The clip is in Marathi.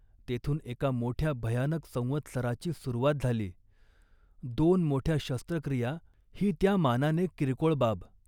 तेथून एका मोठ्या भयानक संवत्सराची सुरुवात झाली. दोन मोठ्या शस्त्रक्रिया ही, त्या मानाने किरकोळ बाब